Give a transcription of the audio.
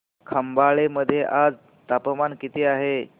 खंबाळे मध्ये आज तापमान किती आहे